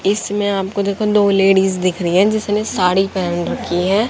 इसमें आपको देखो दो लेडीज दिख रही हैं जिसने साड़ी पहन रखी है।